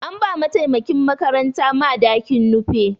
An ba mataimakin makaranta madakin Nupe.